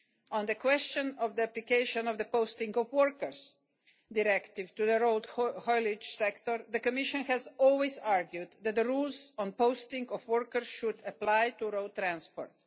On the question of the application of the Posting of Workers Directive to the road haulage sector, the Commission has always argued that the rules on the posting of workers should apply to road transport.